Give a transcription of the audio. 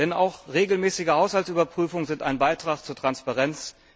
Denn auch regelmäßige Haushaltsüberprüfungen sind ein Beitrag zur Transparenz.